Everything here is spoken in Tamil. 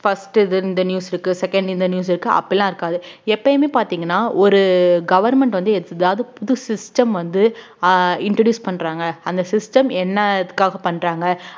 first இது இந்த news க்கு second இந்த news இருக்கு அப்படியெல்லாம் இருக்காது எப்பயுமே பாத்தீங்கன்னா ஒரு government வந்து எதாவது புது system வந்து ஆஹ் introduce பண்றாங்க அந்த system என்ன எதுக்காக பண்றாங்க